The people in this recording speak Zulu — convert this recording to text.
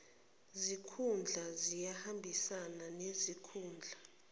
zikhundla ziyohambisana nezikhundla